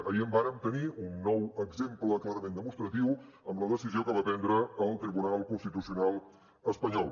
ahir en vàrem tenir un nou exemple clarament demostratiu amb la decisió que va prendre el tribunal constitucional espanyol